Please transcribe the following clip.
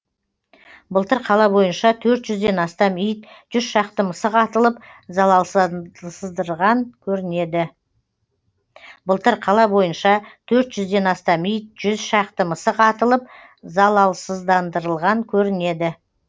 былтыр қала бойынша төрт жүзден астам ит жүз шақты мысық атылып залалсыздандырылған көрінеді